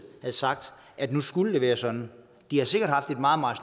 havde sagt at nu skulle det være sådan de har sikkert haft et meget meget